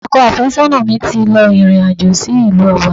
Ọkọ àfésónà mi ti lọ ìrìn àjò sí ìlú Ọba